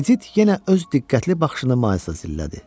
Edit yenə öz diqqətli baxışını Maylsa zillədi.